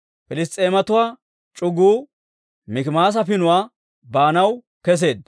Piliss's'eematuwaa c'uguu Mikimaasa pinuwaa baanaw kesseedda.